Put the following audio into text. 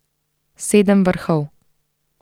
Sedem vrhov.